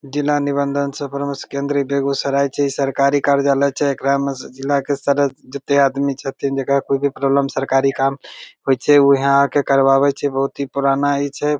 जिला निबंधन सह परामर्श केंद्र बेगूसराय छी इ सरकारी कार्यालय छै एकरा में जिला के सदस्य जते आदमी छथिन जकरा कोई भी प्रोब्लम सरकारी काम होय छै ऊहे आ के करबाबे छै बहुत ही पुराना इ छै।